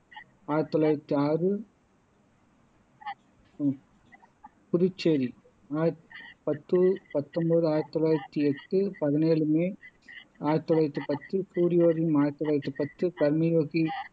ஆயிரத்தி தொள்ளாயிரத்தி ஆறு புதுச்சேரி பத்து பத்தொன்பது ஆயிரத்தி தொள்ளாயிரத்தி எட்டு பதினேழு மே ஆயிரத்தி தொள்ளாயிரத்தி பத்து சூரியோதயம் ஆயிரத்தி தொள்ளாயிரத்தி பத்து கர்மயோகி